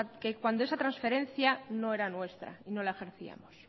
que cuando esa transferencia no era nuestra no la ejercíamos